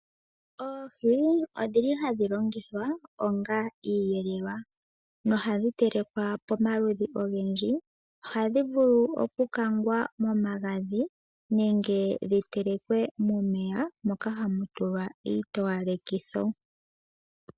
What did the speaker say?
Oohi onga hadhi longithwa onga iiyelelwa nohadhi telekwa pomaludhi ogendji. Ohadhi vulu okukangwa momagadhi nenge dhitelekwe momeya moka hamu tulwa iitowalekitho.